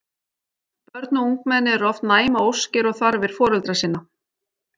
Börn og ungmenni eru oft næm á óskir og þarfir foreldra sinna.